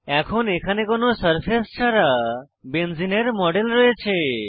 এখন এখানে কোনো সারফেস ছাড়া বেঞ্জিনের মডেল রয়েছে